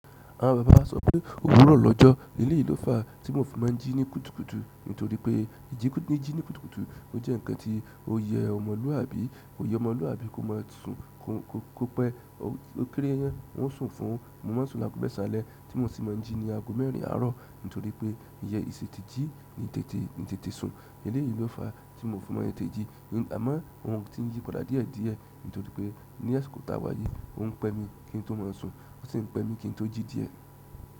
Àwọn bàbá màà ń sọ pé ówùrọ l'ọjọ èlèyì ìló fà tí mo fi má n jí ní kùtùkùtù nítorí pé ìjínì jí ní kùtùkùtù ó jẹ́ nǹkan tí ó yẹ ọmọlúàbí, ó yẹ ọmọlúàbí kó má sùn, kó pé ó kéré yànyàn wọ́n sùn fún-un, mo máa sùn láti ọgọ́ mẹ́sàn álẹ tí mo sì má n jí ní ààgò mẹ́ẹrin àárọ̀ nítorí pé ìyẹ́ ìṣe tètè jí n tètè sùn èlèyì ló fàà tí mò fi má n tètè jí àmọ́ ohun tí n yí padà díẹ̀díẹ̀ nítorí pé ní àsìkò t'áwà yìí ó ń pẹ́ mi kí ń tó má sùn ó sì ń pẹ́ mi kí ń tó jí díẹ̀.